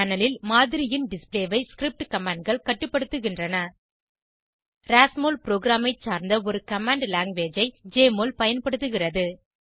panel ல் மாதிரியின் display ஐ ஸ்கிரிப்ட் commandகள் கட்டுப்படுத்துகிறது ராஸ்மோல் புரோகிராம் ஐ சார்ந்த ஒரு கமாண்ட் லாங்குவேஜ் ஐ ஜெஎம்ஒஎல் பயன்படுத்துகிறது